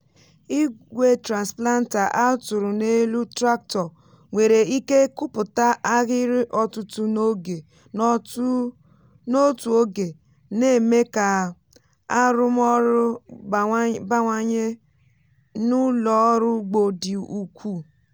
igwe transplanter a tụrụ n’elu tractor nwere ike kụpụta ahịrị ọtụtụ n’otu oge na-eme ka arụmọrụ bawanye n’ụlọ ọrụ ugbo dị ukwuu.